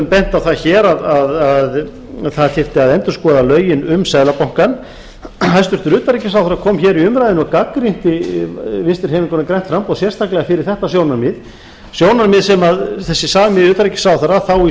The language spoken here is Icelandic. á það hér að það þyrfti að endurskoða lögin um seðlabankann hæstvirts utanríkisráðherra kom hér í umræðuna og gagnrýndi vinstri hreyfinguna grænt framboð sérstaklega fyrir þetta sjónarmið sjónarmið sem þessi sami utanríkisráðherra þá í